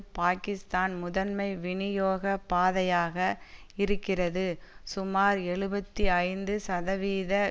பாக்கிஸ்தான் முதன்மை வினியோக பாதையாக இருக்கிறது சுமார் எழுபத்தி ஐந்து சதவீத